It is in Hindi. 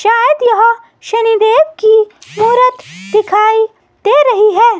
शायद यह शनि देव की मूरत दिखाई दे रही है।